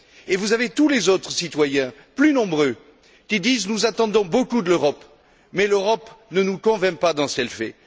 et vous avez tous les autres citoyens, plus nombreux, qui disent Nous attendons beaucoup de l'Europe, mais l'Europe ne nous convainc pas dans ce qu'elle fait.